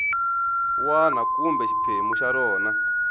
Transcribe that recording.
wana kumbe xiphemu xa rona